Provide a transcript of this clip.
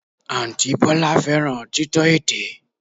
Àǹtí Bọ́lá fẹ́ràn títọ́ ètè